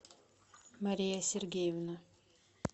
мария сергеевна